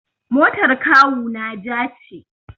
Motar kawuna ja ce.